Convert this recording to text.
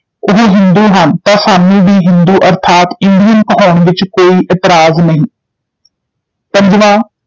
ਉਹ ਹਿੰਦੂ ਹਨ ਤਾਂ ਸਾਨੂੰ ਵੀ ਹਿੰਦੂ ਅਰਥਾਤ ਇੰਡੀਅਨ ਕਹਾਉਣ ਵਿਚ ਕੋਈ ਇਤਰਾਜ਼ ਨਹੀਂ ਪੰਜਵਾਂ,